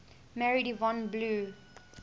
married yvonne blue